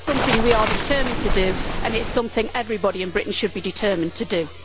That is something we are determined to do and it is something everybody in Britain should be determined to do.